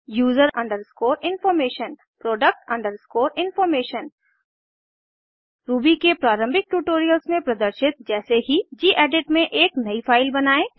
user underscore information product underscore information Ruby के प्रारंभिक tutorials में प्रदर्शित जैसे ही गेडिट में एक नयी फाइल बनायें